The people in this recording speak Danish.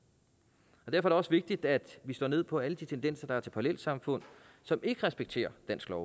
det det også vigtigt at vi slår ned på alle de tendenser der er til parallelsamfund som ikke respekterer dansk lov